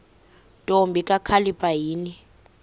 ntombi kakhalipha yini